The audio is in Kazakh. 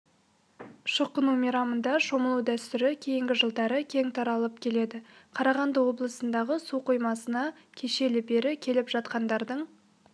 шоқыну мейрамында шомылу дәстүрі кейінгі жылдары кең таралып келеді қарағанды облысындағы су қоймасына кешелі-бері келіп жатқандардың